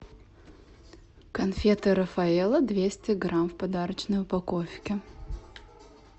конфеты рафаэлло двести грамм в подарочной упаковке